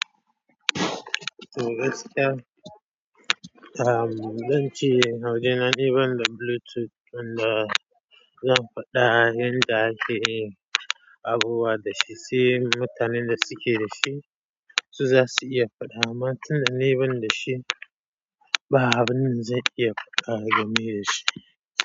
Toh gaskiya uhm, zance a wajena dai banda Bluetooth wanda zan fada yanda akeyin abubuwa da shi, sai mutanen da suke da shi su za su iya faɗa. Amma tun da na yi ban da shi, ba abin zai iya faɗa game da shi.